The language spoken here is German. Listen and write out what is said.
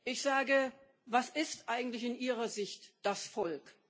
Ich sage Was ist eigentlich in Ihrer Sicht das Volk?